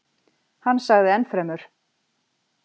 Hann sagði ennfremur: